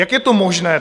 Jak je to možné?